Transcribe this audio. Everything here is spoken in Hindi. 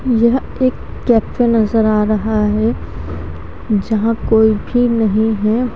यह एक कैफ़े नज़र आ रहा है जहा कोई भी है ।